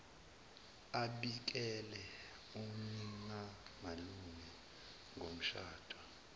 abikele uninalume ngomshado